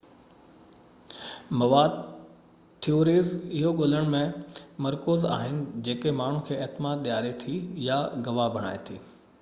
مواد ٿيوريز اهو ڳولڻ تي مرڪوز آهن جيڪو ماڻهن کي اعتماد ڏياري ٿي يا گواهه بڻائي ٿي